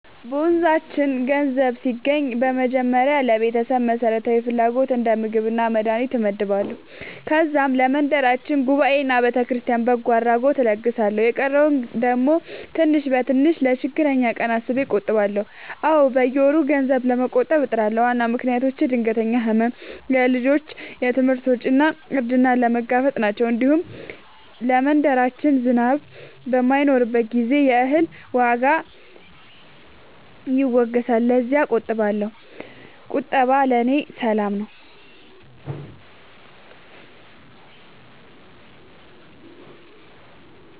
በመንዛችን ገንዘብ ሲገባኝ በመጀመሪያ ለቤተሰብ መሠረታዊ ፍላጎት እንደ ምግብና መድሀኒት እመድባለሁ። ከዛም ለመንደራችን ጉባኤና ለቤተክርስቲያን በጎ አድራጎት እለግሳለሁ። የቀረውን ደግሞ ትንሽ በትንሽ ለችግረኛ ቀን አስቤ እቆጥባለሁ። አዎ፣ በየወሩ ገንዘብ ለመቆጠብ እጥራለሁ። ዋና ምክንያቶቼ ድንገተኛ ሕመም፣ የልጆች ትምህርት ወጪ እና እርጅናን መጋፈጥ ናቸው። እንዲሁም ለመንደራችን ዝናብ በማይኖርበት ጊዜ የእህል ዋጋ ይወገሳልና ለዚያም እቆጥባለሁ። ቁጠባ ለእኔ ሰላም ነው።